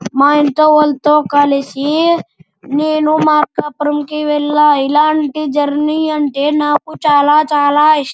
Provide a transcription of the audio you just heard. మా ఇంట్లో వాళ్లతో కలిసి నేను మక్కాపురం కి వెళ్ళ ఇలాంటి జర్నీ అంటే నాకు చాల చాల ఇ --